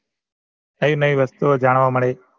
કઈ મારી વસ્તુઓ જાણવા મલી